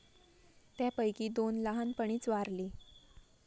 त्यांपैकी दोन लहानपणीच वारली.